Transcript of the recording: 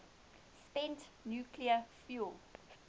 spent nuclear fuel